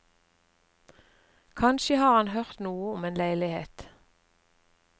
Kanskje har han hørt noe om en leilighet?